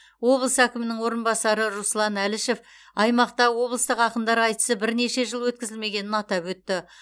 облыс әкімінің орынбасары руслан әлішев аймақта облыстық ақындар айтысы бірнеше жыл өткізілмегенін атап өтті